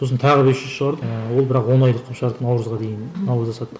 сосын тағы без жүз шығардық ыыы ол бірақ он айлық қылып шығардық наурызға дейін наурызда саттық